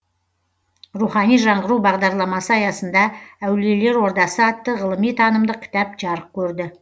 рухани жаңғыру бағдарламасы аясында әулиелер ордасы атты ғылыми танымдық кітап жарық көрді